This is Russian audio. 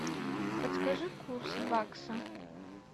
подскажи курс бакса